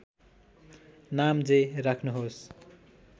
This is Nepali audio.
नाम जे राख्नुहोस्